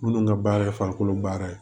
Minnu ka baara ye farikolo baara ye